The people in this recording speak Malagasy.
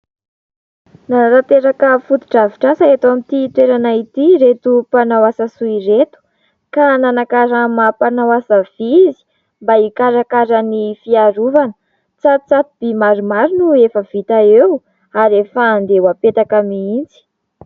Nanatanteraka fotodrafitrasa eto amin'ity toerana ity ireto mpanao asa soa ireto ka nanakarama mpanao asa vy izy mba hikarakara ny fiarovana. Tsatotsato-by maromaro no efa vita eo, ary efa andeha ho apetraka mihitsy.